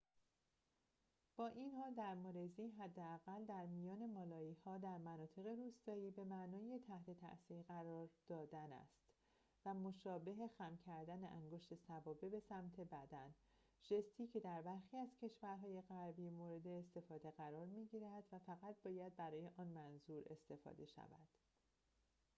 با این حال در مالزی حداقل در میان مالایی‌ها در مناطق روستایی به معنای تحت تاثیر قرار دادن است مشابه خم کردن انگشت سبابه به سمت بدن ژستی که در برخی از کشورهای غربی مورد استفاده قرار می‌گیرد و فقط باید برای آن منظور استفاده شود